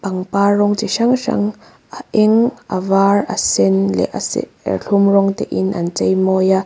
pangpar rawng chi hrang hrang a eng a var a sen leh a serthlum rawng te in an cheimawi a.